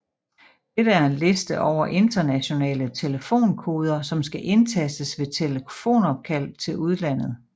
Dette er en liste over internationale telefonkoder som skal indtastes ved telefonopkald til udlandet